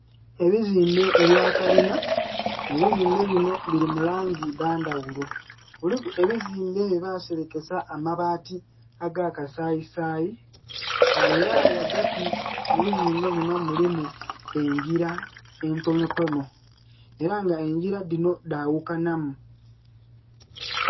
Ebizimbe ebya kalinha, ebizimbe binho bili mu langi dha ndhaghulo, kuliku ebizimbe bye baserekesa amabati aga kasayisayi nga era ghagati mu bizimbe munho mulimu engila entono tono era nga engila dhino dhaghukanhamu